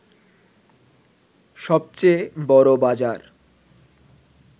সবচেয়ে বড় বাজার